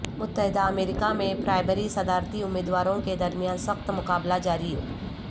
متحدہ امریکہ میں پرائمری صدارتی امیدواروں کے درمیان سخت مقابلہ جاری